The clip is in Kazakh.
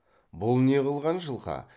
бұл не қылған жылқы